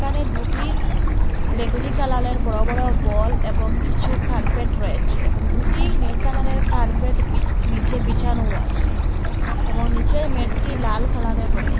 এখানে দুটি বেগুনি কালারের বড় বড় বল এবং কিছু কার্পেট রয়েছে এবং দুটি নীল কালারের কার্পেট বি নীচে বিছানোও আছে এবং নীচের ম্যাটটি লাল কালারের রয়ে--